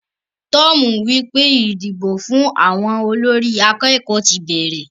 Tom wípé idìgbó fún àwọn olórí akékòó ti bẹrẹ.